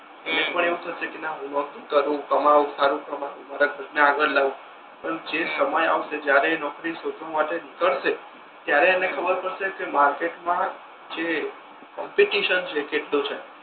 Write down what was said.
હમ એને પણ એવુ થતુ હસે કે ના હુ કમાઉ સારુ કમાઉ મારા ઘર ને આગળ લાવુ પણ જે સમય આવસે જ્યારે એ નોકરી શોધવા માટે નીકળશે ત્યારે એને ખબર પડશે કે માર્કેટ મા જે કોમ્પિટિશન છે એ કેટલુ છે.